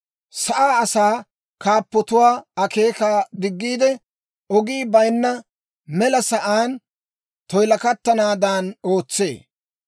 Sa'aa asaa kaappatuwaa akeekaa diggiide, ogii bayinna mela sa'aan toyilakattanaadan ootsee.